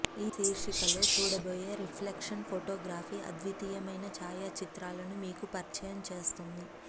ఈ శీర్షికలో చూడబోయే రిఫ్లెక్షన్ ఫోటోగ్రఫీ అద్వితీయమైన ఛాయాచిత్రాలను మీకు పరిచయం చేస్తుంది